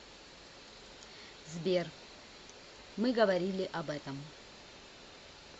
сбер мы говорили об этом